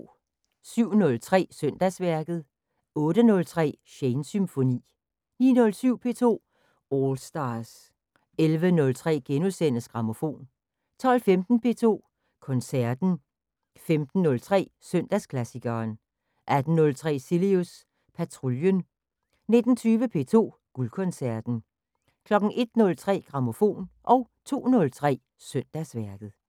07:03: Søndagsværket 08:03: Shanes Symfoni 09:07: P2 All Stars 11:03: Grammofon * 12:15: P2 Koncerten 15:03: Søndagsklassikeren 18:03: Cilius Patruljen 19:20: P2 Guldkoncerten 01:03: Grammofon 02:03: Søndagsværket